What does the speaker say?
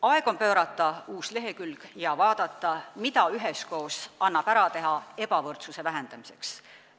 Aeg on pöörata uus lehekülg ja vaadata, mida annab üheskoos ebavõrdsuse vähendamiseks ära teha.